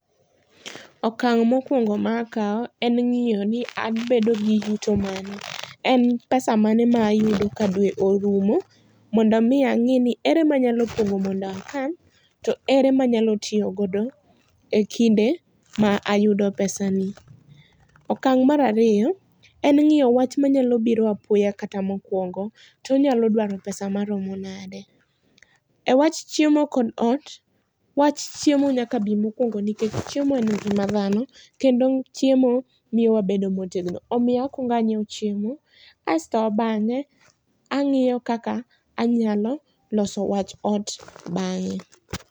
Okang mokuongo ma akaw en ngiyo ni abedo gi yuto moro. En pesa mane ma ayudo ka dwe orumo mondo mi angeni ere manyalo pongo mondo akan to ere manyalo tiyo godo ekinde ma ayudo pesani. Okang mar ariyo en ngiyo wach ma nyalo biro apoya kata mopondo to onyalo dwaro pesa maromo nade. E wach chiemo kod ot, wach chiemo nyaka bi mokuongo nikech chiemo en ngima dhano kendo chiemo miyo wabedo motegno omiyo akuong anyiew chiemo asto bange angiyo kaka anyalo loso wach ot bange